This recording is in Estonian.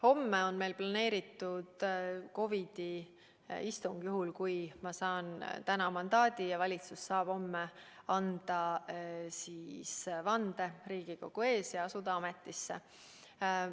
Homme on meil plaanis COVID‑i istung, juhul kui ma saan täna mandaadi ja valitsus saab homme anda vande Riigikogu ees ja asuda ametisse.